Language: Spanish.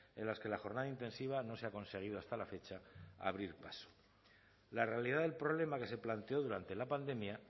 en las que la jornada intensiva no se ha conseguido hasta la fecha abrir paso la realidad del problema que se planteó durante la pandemia